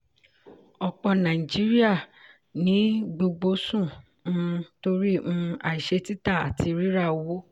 ọ̀pọ̀ nàìjíríà ní gbogbo sún um torí um àìṣẹ́ títà àti rírà owó.